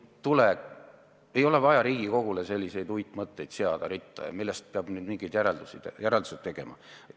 Ei ole vaja Riigikogule ritta seda selliseid uitmõtteid, millest peaks nüüd mingid järeldused tegema.